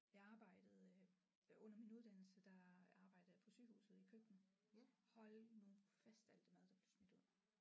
Jeg arbejdede under min uddannelse der arbejdede jeg på sygehuset i køkkenet hold nu fast alt det mad der blev smidt ud